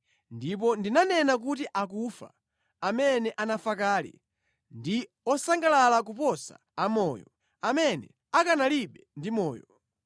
Ndipo ndinanena kuti akufa, amene anafa kale, ndi osangalala kuposa amoyo, amene akanalibe ndi moyo.